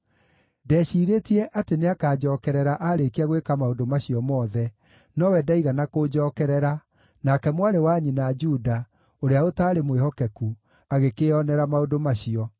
Ndeciirĩtie atĩ nĩakanjookerera aarĩkia gwĩka maũndũ macio mothe, nowe ndaigana kũnjookerera, nake mwarĩ wa nyina, Juda, ũrĩa ũtaarĩ mwĩhokeku, agĩkĩĩonera maũndũ macio.